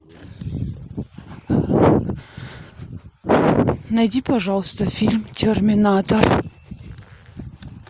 найди пожалуйста фильм терминатор